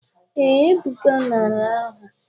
Ee, Ebuka nara aha.